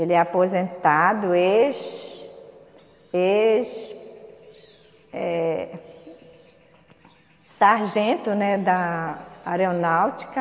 Ele é aposentado, ex, ex, eh Sargento, né, da Aeronáutica.